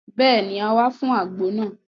Béèni, a wá fún àgbo náà